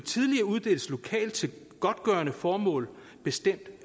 uddeles lokalt til godgørende formål bestemt